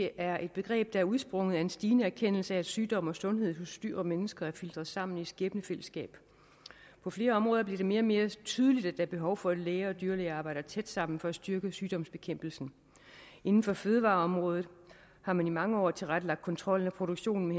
er et begreb der er udsprunget af en stigende erkendelse af at sygdom og sundhed hos dyr og mennesker er filtret sammen i et skæbnefællesskab på flere områder bliver det mere og mere tydeligt er behov for at læger og dyrlæger arbejder tæt sammen for at styrke sygdomsbekæmpelsen inden for fødevareområdet har man i mange år tilrettelagt kontrollen af produktionen